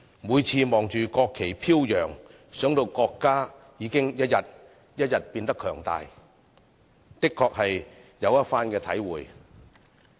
每次看着國旗飄揚，想到國家已經一天一天變得強大，的確有一番體會。